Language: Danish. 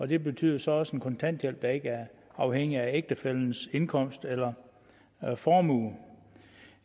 det betyder så også en kontanthjælp der ikke er afhængig af ægtefællens indkomst eller formue